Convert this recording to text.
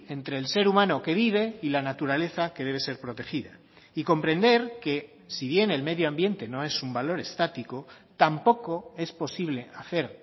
entre el ser humano que vive y la naturaleza que debe ser protegida y comprender que si bien el medio ambiente no es un valor estático tampoco es posible hacer